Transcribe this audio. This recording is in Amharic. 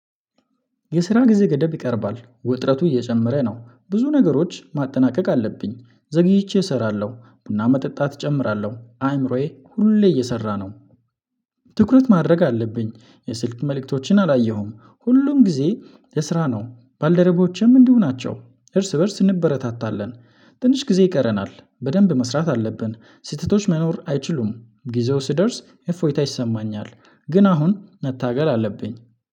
የስራ ጊዜ ገደብ ይቀርባል ውጥረቱ እየጨመረ ነው ብዙ ነገሮች ማጠናቀቅ አለብኝ ዘግይቼ እሰራለሁ ቡና መጠጣት እጨምራለሁ አእምሮዬ ሁሌ እየሰራ ነው። ትኩረት ማድረግ አለብኝ የስልክ መልእክቶችን አላየሁም ሁሉም ጊዜ የስራ ነው ባልደረቦቼም እንዲሁ ናቸው እርስ በእርስ እንበረታታለን። ትንሽ ጊዜ ይቀረናል በደንብ መስራት አለብን ስህተቶች መኖር አይችሉም ጊዜው ስደርስ እፎይታ ይሰማኛል። ግን አሁን መታገል አለብኝ